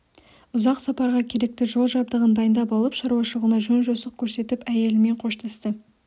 ұзақ сапарға керекті жол жабдығын дайындап алып шаруашылығына жөн-жосық көрсетіп әйелімен қоштасты